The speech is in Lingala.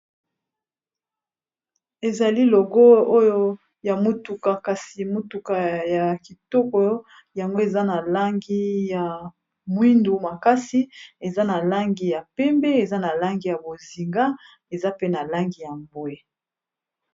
Ezali logo oyo ya motuka kasi motuka ya kitoko yango eza na langi ya mwindu makasi eza na langi ya pembe eza na langi ya bozinga eza pe na langi ya mbwe.